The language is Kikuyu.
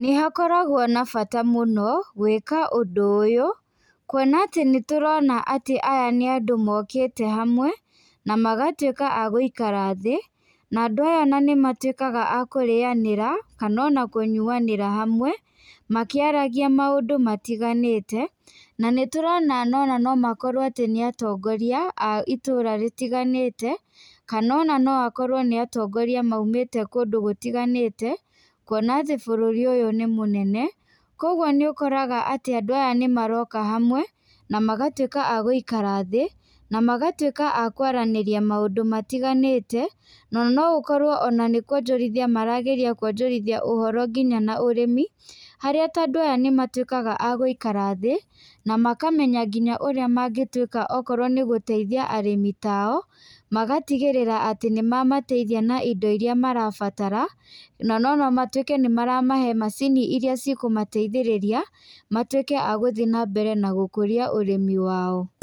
Nĩ hakoragwo na bata mũno gwĩka ũndũ ũyũ, kuona atĩ nĩtũrona atĩ aya nĩ andũ mokĩte hamwe na magatuĩka a gũikara thĩ. Na andũ aya nĩmatuĩkaga a kũrĩyanĩra kana ona kũyuanĩra hamwe makĩaragia maũndũ matiganĩte. Na nĩtũrona ona no makorwo atĩ nĩ atongoria a itũra rĩtiganĩte kana ona no akorwo nĩ atongoria maumĩte kũndũ gũtiganĩte kuona atĩ bũrũri ũyũ nĩ mũnene. Koguo nĩũkoraga atĩ andũ aya nĩmaroka hamwe, na magatuĩka a gũikara thĩ na magatuĩka a kwaranĩria maũndũ matiganĩte. Na no gũkorwo ona nĩkuonjorithia marageria kuonjorithia ũhoro nginya na ũrĩmi harĩa ta andũ aya nĩmatuĩkaga a gũikara thĩ na makamenya nginya ũrĩa mangĩtuĩka okorwo nĩ gũteithia arĩmi tao. Magatigĩrĩra atĩ nĩmamateithia na indo iria marabatara na no matuĩke nĩmaramahe macini iria cikũmateithĩrĩria matuĩke a gũthiĩ na mbere na gũkũria ũrĩmi wao.